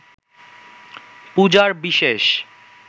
পূজার বিশেষ